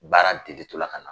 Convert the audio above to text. Baara degitɔla ka na